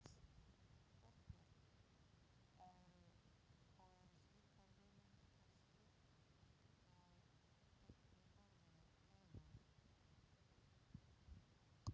Þorbjörn: Og eru slíkar hugmyndir kannski á teikniborðinu eða?